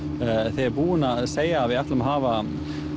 þau eru búin að segja að við ætlum að hafa